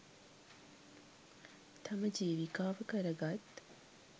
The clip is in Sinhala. තම ජීවිකාව කර ගත්